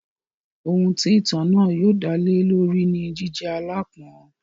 Ohun tí ìtàn náà yóò dálé lórí ni jíjẹ́ aláápọn.